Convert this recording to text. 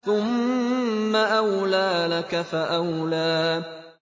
ثُمَّ أَوْلَىٰ لَكَ فَأَوْلَىٰ